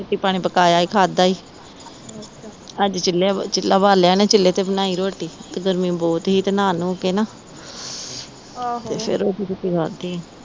ਰੋਟੀ ਪਾਣੀ ਪਕਾਇਆ ਈ ਖਾਦਾ ਈ ਅੱਜ ਚੁੱਲਾ ਬਾਲਿਆ ਨਾ ਚੁੱਲ੍ਹੇ ਤੇ ਬਨਾਇ ਹੀ ਰੋਟੀ ਤੇ ਗਰਮੀ ਬਹੁਤ ਹੀ ਤੇ ਨਹਾ ਨਉ ਕ ਨਾ ਫਿਰ ਰੋਟੀ ਰੂਟੀ ਖਾਦੀ ਹੀ